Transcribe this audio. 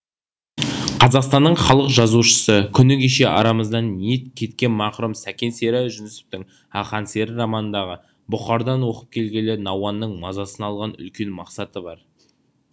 қазақстанның халық жазушысы күні кеше арамыздан ниет кеткен мақұрым сәкен сері жүнісовтың ақан сері романындағы бұхардан оқып келгелі науанның мазасын алған үлкен мақсаты бар